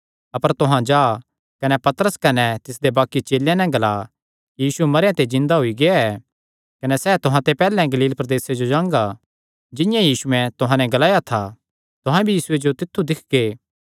अपर तुहां जा कने तिसदे चेलेयां नैं कने पतरसे नैं ग्ला कि यीशु तुहां ते पैहल्ले गलील प्रदेसे जो जांगा जिंआं यीशुयैं तुहां नैं ग्लाया था तुहां भी यीशुये जो तित्थु दिक्खगे